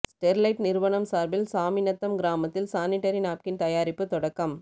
Sterlite நிறுவனம் சார்பில் சாமிநத்தம் கிராமத்தில் சானிடரி நாப்கின் தயாரிப்பு தொடக்கம்